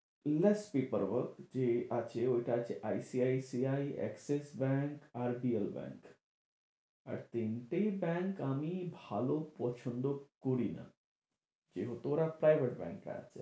যে আছে ঐটা আছে ICICI, Axix Bank, RBL Bank আর তিনটেই bank আমি ভালো পছন্দ করি না যেহেতু ওরা private আছে।